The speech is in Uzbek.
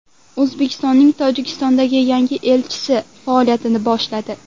O‘zbekistonning Tojikistondagi yangi elchisi faoliyatini boshladi.